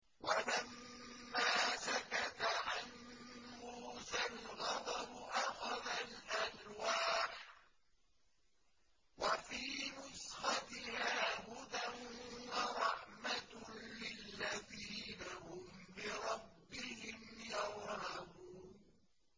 وَلَمَّا سَكَتَ عَن مُّوسَى الْغَضَبُ أَخَذَ الْأَلْوَاحَ ۖ وَفِي نُسْخَتِهَا هُدًى وَرَحْمَةٌ لِّلَّذِينَ هُمْ لِرَبِّهِمْ يَرْهَبُونَ